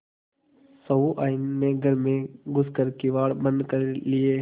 सहुआइन ने घर में घुस कर किवाड़ बंद कर लिये